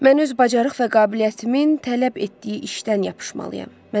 Mən öz bacarıq və qabiliyyətimin tələb etdiyi işdən yapışmalıyam.